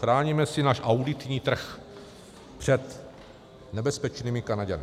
Chráníme si náš auditní trh před nebezpečnými Kanaďany.